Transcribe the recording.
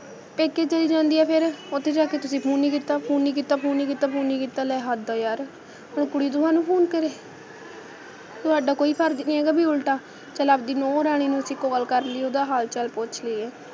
ਪੇਕੇ ਚਲੀ ਜਾਂਦੀ ਆ ਫੇਰ ਉੱਥੇ ਜਾ ਕੇ ਤੁਸੀ ਫੋਨ ਨਹੀਂ ਕੀਤਾ, ਫੋਨ ਨਹੀਂ ਕੀਤਾ, ਫੋਨ ਨਹੀਂ ਕੀਤਾ, ਫੋਨ ਨਹੀਂ ਕੀਤਾ, ਲੈ ਹੱਦ ਆ ਯਾਰ, ਹੁਣ ਕੁੜੀ ਤੁਹਾਨੂੰ ਫੋਨ ਕਰੇ, ਤੁਹਾਡਾ ਕੋਈ ਫਰਜ਼ ਨਹੀਂ ਹੈਗਾ, ਬਈ ਉਲਟਾ, ਚੱਲ ਆਪਦੀ ਨੂੰਹ ਰਾਣੀ ਨੂੰ ਅਸੀ call ਕਰ ਲਈਏ, ਓਹਦਾ ਹਾਲ ਚਾਲ ਪੁੱਛ ਲਈਏ,